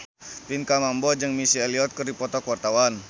Pinkan Mambo jeung Missy Elliott keur dipoto ku wartawan